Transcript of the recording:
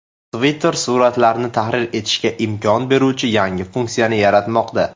Twitter suratlarni tahrir etishga imkon beruvchi yangi funksiyani yaratmoqda.